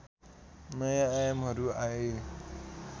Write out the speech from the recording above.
नयाँ आयामहरू आए